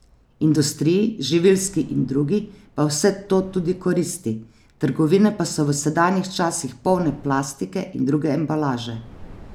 Industriji, živilski in drugi, pa vse to tudi koristi, trgovine pa so v sedanjih časih polne plastike in druge embalaže.